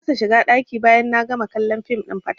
Na kasa shiga ɗaki bayan na gama kallon fim ɗin fatalwa.